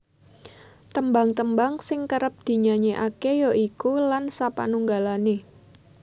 Tembang tembang sing kerep dinyanyekake ya iku Lan sapanunggale